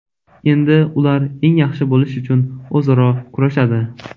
Endi ular eng yaxshi bo‘lish uchun o‘zaro kurashadi.